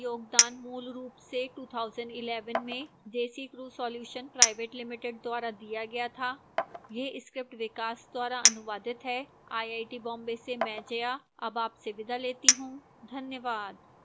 इस tutorial का योगदान मूलरूप से 2011 में desicrew solutions pvt ltd द्वारा दिया गया था यह स्क्रिप्ट विकास द्वारा अनुवादित है आईआईटी बॉम्बे से मैं जया अब आपसे विदा लेती हूं धन्यवाद